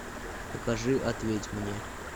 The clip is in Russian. покажи ответь мне